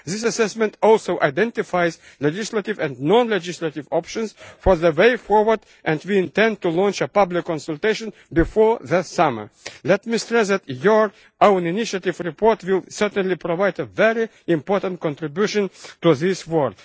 This assessment also identifies legislative and non-legislative options for the way forward, and we intend to launch a public consultation before the summer. Let me stress that your own initiative report will provide a very important contribution to this